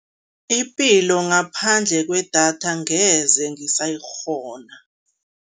Ipilo ngaphandle kwedatha angeze ngisayikghona.